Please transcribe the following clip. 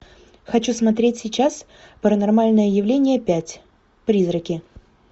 хочу смотреть сейчас паранормальное явление пять призраки